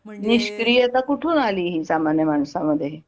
म्हणजे निष्क्रीयता कुठून आली ही सामान्य माणसामध्ये